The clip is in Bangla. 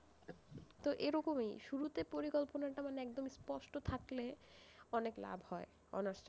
তো এরকমই, শুরুতে পরিকল্পনা টা মানে একদম স্পষ্ট থাকলে, অনেক লাভ হয় honours টা,